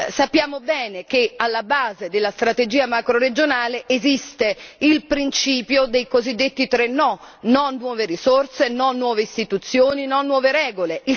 Sappiamo bene che alla base della strategia macroregionale esiste il principio dei cosiddetti tre no no a nuove risorse, no a nuove istituzioni, no a nuove regole.